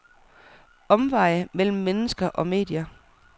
Omveje mellem mennesker og medier.